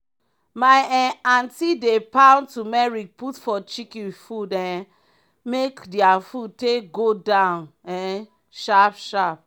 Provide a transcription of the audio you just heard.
my um aunty dey pound tumeric put for chicken food um make dia food take go down um sharp sharp.